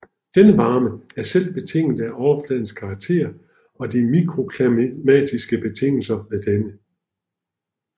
Denne varme er selv betinget af overfladens karakter og de mikroklimatiske betingelser ved denne